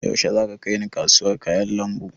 Yaushe za ka kaina kasuwar kayan lambu?